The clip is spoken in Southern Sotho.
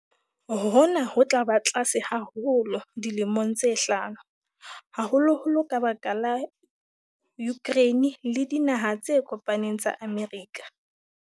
Hona ho tla ba tlase haholo dilemong tse hlano, haholoholo ka baka la Ukraine le Dinaha tse Kopaneng tsa Amerika.